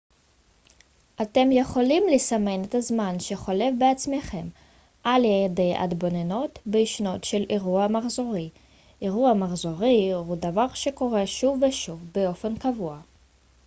אתם יכולים לסמן את הזמן שחולף בעצמכם על ידי התבוננות בהישנות של אירוע מחזורי אירוע מחזורי הוא דבר שקורה שוב ושוב באופן קבוע